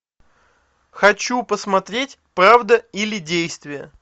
хочу посмотреть правда или действие